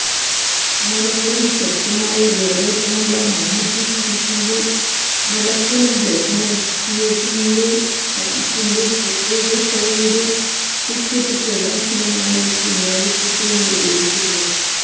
മലപ്പുറം ശക്തമായ വോരോട്ടമുള്ള മമ്മൂട്ടി ഫാന്സിന്റെ മലപ്പുറം രചന തീയേറ്ററിലെ ഫാന്സിന്റെ പ്രത്യേക ഷോയുടെ ടിക്കറ്റ് പ്രകാശനമാണ് കുഞ്ഞാലിക്കുട്ടി നിര്വഹിച്ചത്